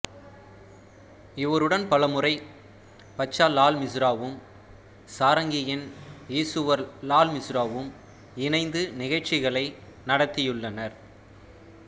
இவருடன் பல முறை பச்சா லால் மிசுராவும் சாரங்கியின் ஈசுவர் லால் மிசுராவும் இணைந்து நிகழ்ச்சிகளை நடத்தியுள்ளனர்